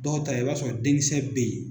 Dɔw ta i b'a sɔ den kisɛ be ye